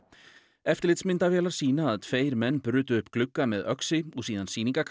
eftirlitsmyndavélar sýna að tveir menn brutu upp glugga með öxi og síðan